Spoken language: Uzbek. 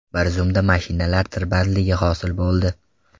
Bir zumda mashinalar tirbandligi hosil bo‘ldi.